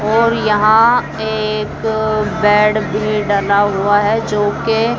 और यहां एक बेड भी डला हुआ है जो कि--